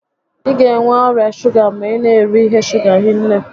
Ị ga enwe ọrịa shuga ma ị na'eri ihe shuga hinne